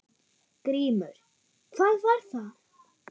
GRÍMUR: Hvað var það?